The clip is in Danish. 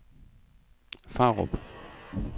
Farup